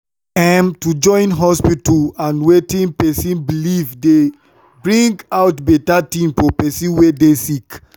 em- to join hospita and wetin pesin belief dey bring out beta tin for pesin wey dey sick